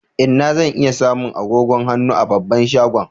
Inna zan iya samu agogon hannu a babban shagon?